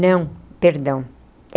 Não, perdão.